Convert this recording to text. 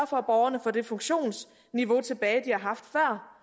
for at borgerne får det funktionsniveau tilbage de har haft før